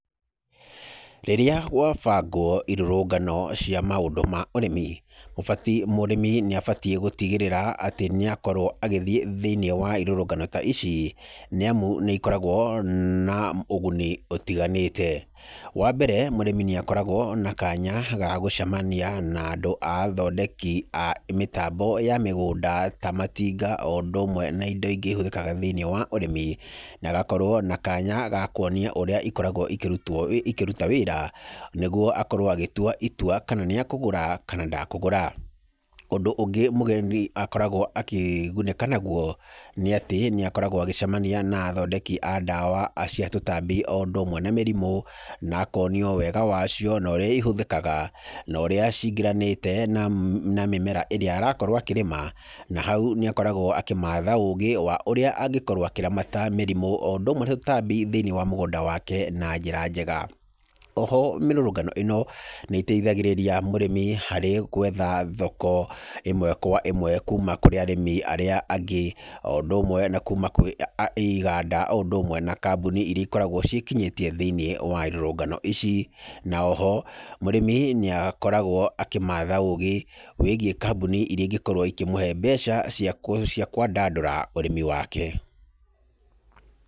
Rĩrĩa gwabangwo irũrũngano cia maũndũ ma ũrĩmi, ũbati, mũrĩmi nĩ abatiĩ gũtigĩrĩra atĩ nĩakorwo agĩthiĩ thĩiniĩ wa irũrũngano ta ici nĩamu nĩ ikoragwo na ũguni ũtiganĩte. Wambere mũrĩmi nĩ akoragwo na kanya ga gũcemania na andũ a athondeki a mĩtambo ya mĩgũnda ta matinga oũndũ ũmwe na indo ingĩ ihũthĩkaga thĩiniĩ wa ũrĩmi, nagakorwo na kanya ga kwonio ũrĩa ikoragwo ikĩrutwo, ikĩruta wĩra nĩgwo akorwo agĩtua itua kana nĩ akũgũra kana ndakũgũra. Ũndũ ũngĩ mũgeni akoragwo akĩgunĩka nagwo nĩ atĩ nĩ akoragwo agĩcemania na athondeki a ndawa cia tũtambi oũndũ ũmwe na mĩrimũ, na akonio wega wacio norĩa ihũthĩkaga, norĩa cingĩranĩte na mĩmera ĩrĩa arakorwo akĩrĩma na hau nĩ akoragwo akĩmatha ũgĩ wa ũrĩa angĩkorwo akĩramata mĩrimũ oũndũ ũmwe na tũtambi thĩiniĩ wa mũgũnda wake na njĩra njega. Oho mĩrũrũngano ĩno nĩiteithagĩrĩria mũrĩmi harĩ gwetha thoko ĩmwe kwa ĩmwe kuuma kũrĩ arĩmi arĩa angĩ oũndũ ũmwe na kuuma kũrĩ, iganda oũndũ ũmwe na kambuni iria ikoragwo ciĩkinyĩtie thĩiniĩ wa irũrũngano ici. Na oho mũrĩmi nĩ akoragwo akĩmatha ũgĩ wĩigiĩ kambuni iria ingĩkorwo ikĩmũhe mbeca cia kwĩ, cia kwandandũra ũrĩmi wake.